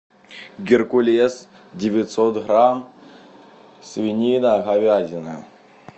геркулес девятьсот грамм свинина говядина